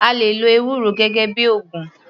A lè lo ewúro gẹ́gẹ́ bíi ògùn.